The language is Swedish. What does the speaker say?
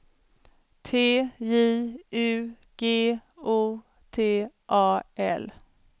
T J U G O T A L